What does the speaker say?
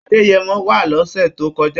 Adẹ́yẹmọ wá lọ́sè tó kọjá